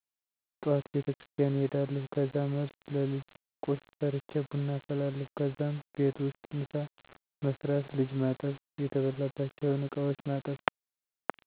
ጠዋት ቤቴክርስትያን እሄዳለሁ ከዛ መልስ ለልጀ ቁርስ ሰርቼ ቡና አፈላለሁ ከዛም ቤት ውስጥ ምሳ መስራት ልጅ ማጠብ የተበላባቸውን እቃዎች ማጠብ